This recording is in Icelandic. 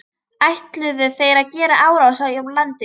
Ætluðu þeir að gera árás á landið?